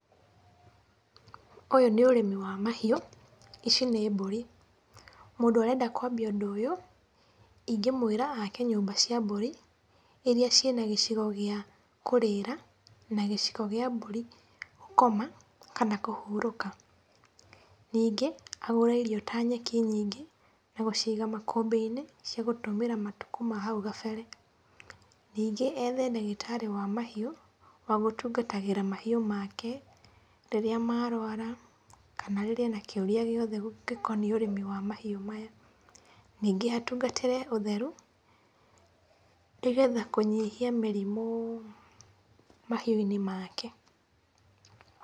Ũyũ nĩ ũrĩmi wa mahiũ, ici nĩ mbũri, mũndũ arenda kwambia ũndũ ũyũ, ingĩmwĩra ake nyũmba cia mbũri, iria cina gĩcigo gĩa kũrĩra na gĩcigo kĩa mbũri gũkoma kana kũhurũka. Ningĩ agũre irio ta nyeki nyingĩ na gũciga makũmbĩ-inĩ cia gũtũmĩra matũko ma nahau gabere. Ningĩ ethe ndagĩtarĩ wa mahiũ wa gũtũngatagĩra mahiũ make rĩrĩa marwara kana rĩrĩa ena kĩũria gĩothe gĩkoniĩ ũrĩmi wa mahiũ maya. Ningĩ atungatĩre ũtheru nĩgetha kũnyihia mĩrimũ mahiũ-inĩ make.